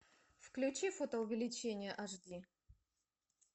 включи фотоувеличение аш ди